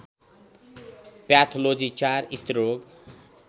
pathology ४ स्त्रीरोग